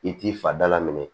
I t'i fa da la minɛ